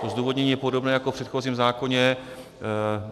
To zdůvodnění je podobné jako v předchozím zákoně.